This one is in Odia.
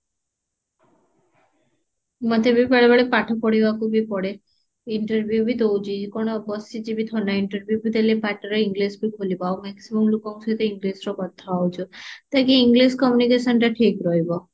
ମତେ ବି ବେଳେବେଳେ ପାଠ ପଢିବାକୁ ବି ପଢେ interview ବି ଦଉଛି କଣ ବସିଯିବି ଥୋଡି ନା interview ବି ଦେଲେ ପାଟିରେ english ବି ଖୋଲିବ ଆଉ maximum ଲୋକଙ୍କ ସହିତ english ରେ କଥା ହଉଚ ତାକି english communication ଟା ଠିକ ରହିବ